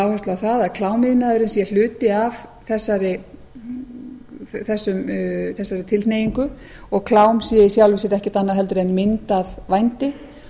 áhersla á það að klámiðnaðurinn sé hluti af þessari tilhneigingu og klám sé í sjálfu sér ekkert annað heldur en mynd af vændi